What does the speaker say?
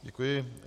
Děkuji.